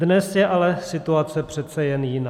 Dnes je ale situace přece jen jiná.